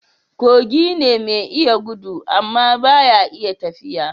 Kogi ne mai iya gudu amma ba ya iya tafiya